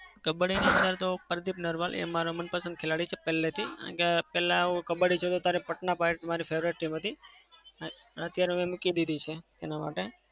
કબ્બડી ની અંદર તો પ્રદીપ નરવાલ એ મારો મનપસંદ ખેલાડી છે પેલાથી. કારણ કે પેલા હું કબ્બડી જોતો ત્યારે પટના priates મારી favorite team હતી. અત્યારે હવે મૂકી દીધી છે એના માટે.